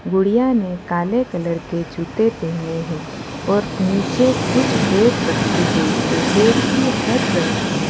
गुड़िया ने काले कलर के जूते पेहने हैं और नीचे कुछ बेट रखी गई है बेट भी हर रंग की ह --